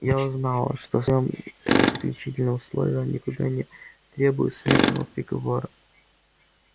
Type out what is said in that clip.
я узнала что в своём заключительном слове он никогда не требует смертного приговора